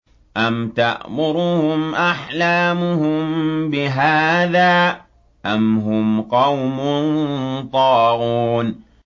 أَمْ تَأْمُرُهُمْ أَحْلَامُهُم بِهَٰذَا ۚ أَمْ هُمْ قَوْمٌ طَاغُونَ